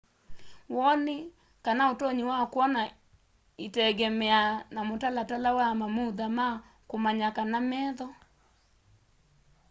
woni kana utonyi wa kwona itengemeaa na mutalatala wa mamutha ma kumanya kana metho